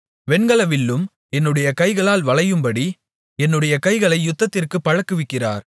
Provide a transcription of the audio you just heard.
வெண்கல வில்லும் என்னுடைய கைகளால் வளையும்படி என்னுடைய கைகளை யுத்தத்திற்குப் பழக்குவிக்கிறார்